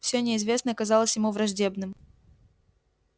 все неизвестное казалось ему враждебным